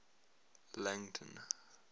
langton